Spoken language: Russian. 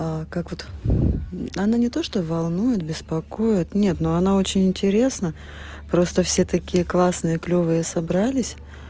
как вот она не то что волнует беспокоит нет но она очень интересно просто все такие классные клёвые собрались